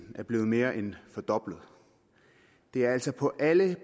er blevet mere end fordoblet det er altså på alle